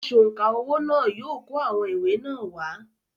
“ Asọ̀ǹkà owó” náà yóò kó àwọn ìwé náà wá.